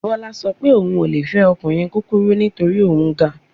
Bọ́lá sọ pé òun ò le fẹ́ ọkùnrin kúkurú nítorí òun ga